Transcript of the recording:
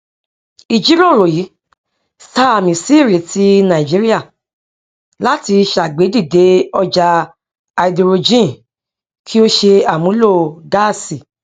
ìjírọrọ yìí sààmì sí ìrètí nàìjíría láti ṣègbèdíde ọjà háídírójìn kí ó ṣe àmúlò gáàsì